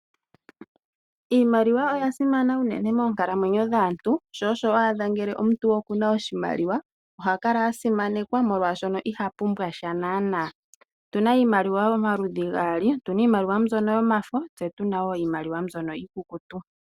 Iimaliwa oya simana uunene moonkalamwenyo dhaantu sho osho wa adha ngele omuntu oku na oshimaliwa oha kala a simanekwa, molwaashoka iha kala a pumbwa sha naana. Otu na iimaliwa omaludhi gaali, tu na iimaliwa mbyono yomafo tse tu na iimaliwa mbyono iikukutu.